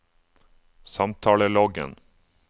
samtaleloggen